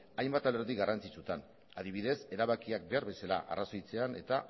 hainbat alderdi garrantzitsuetan adibidez erabakiak behar bezala arrazoitzea eta